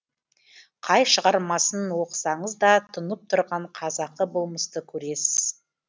қай шығармасын оқысаңыз да тұнып тұрған қазақы болмысты көресіз